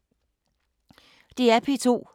DR P2